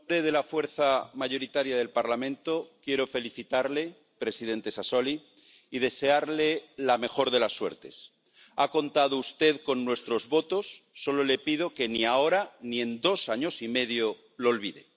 Señor presidente, en nombre de la fuerza mayoritaria del Parlamento quiero felicitarle, presidente Sassoli, y desearle la mejor de las suertes. Ha contado usted con nuestros votos solo le pido que ni ahora ni en dos años y medio lo olvide.